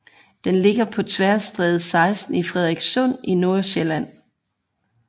Den ligger på Tværstræde 16 i Frederikssund i Nordsjælland